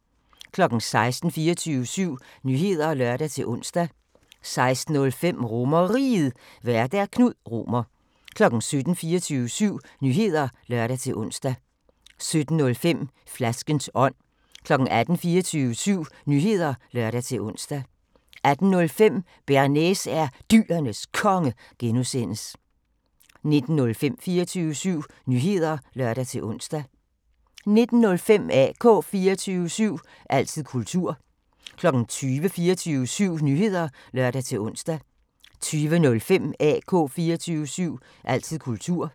16:00: 24syv Nyheder (lør-ons) 16:05: RomerRiget, Vært: Knud Romer 17:00: 24syv Nyheder (lør-ons) 17:05: Flaskens ånd 18:00: 24syv Nyheder (lør-ons) 18:05: Bearnaise er Dyrenes Konge (G) 19:00: 24syv Nyheder (lør-ons) 19:05: AK 24syv – altid kultur 20:00: 24syv Nyheder (lør-ons) 20:05: AK 24syv – altid kultur